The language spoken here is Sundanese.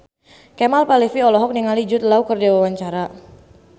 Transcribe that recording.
Kemal Palevi olohok ningali Jude Law keur diwawancara